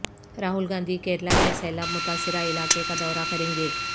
راہل گاندھی کیرالا کے سیلاب متاثرہ علاقے کا دورہ کریں گے